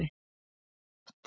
Mjög þétt.